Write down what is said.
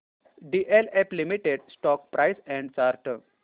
DLF limited stock price and chart